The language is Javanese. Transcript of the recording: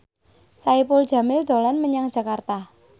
Saipul Jamil dolan menyang Jakarta